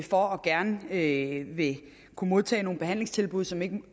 for gerne at ville modtage nogle behandlingstilbud som ikke